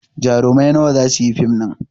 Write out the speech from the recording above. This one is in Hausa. Jarumai nawa za su yi fim ɗin?